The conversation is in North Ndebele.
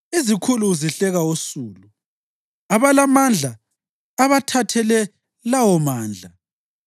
Izikhulu uzihleka usulu abalamandla abathathele lawomandla.